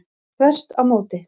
Þvert á móti.